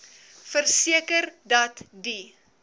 verseker dat die